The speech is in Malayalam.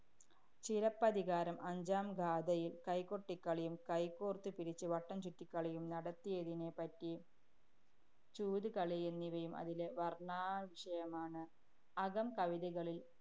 ചിലപ്പതികാരം അഞ്ചാം ഗാഥയില്‍ കൈകൊട്ടിക്കളിയും, കൈകോര്‍ത്തുപിടിച്ച് വട്ടം ചുറ്റിക്കളിയും നടത്തിയതിനെപ്പറ്റി, ചൂതുകളിയും എന്നിവയും അതിലെ വര്‍ണ്ണാ വിഷയമാണ്‌. അകം കവിതകളില്‍